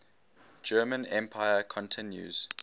german empire continues